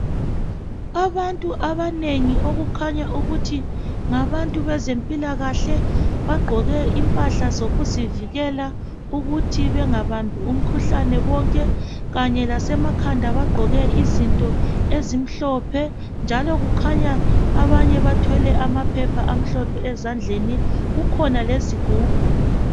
Abantu abanengi okukhanya ukuthi ngabantu bezempilakahle bagqoke impahla zokuzivikela ukuthi bengabambi umkhuhlane bonke kanye lasemakhanda bagqoke izinto ezimhlophe njalo kukhanya abanye bathwele amaphepha amhlophe ezandleni kukhona lezigubhu.